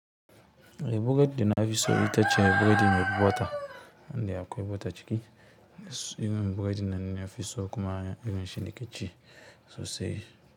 Biredi da na fi so ita ce biredi mai bota, wanda akwai bota ciki. Irin biredi nan na fi so kuma irin shi nake ci sosai.